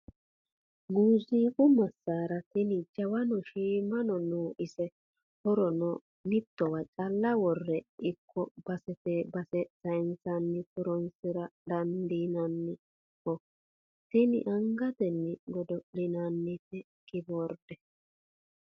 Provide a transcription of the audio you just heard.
Muziiqu masara tini jawano shiimano no ise horono mittowa calla worenna ikko basete base sayinsanni horonsira dandiinanniho tini angatenni godo'linannite kiborde.